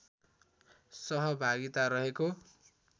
सहभागिता रहेको